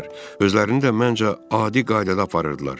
Özlərini də, məncə, adi qaydada aparırdılar.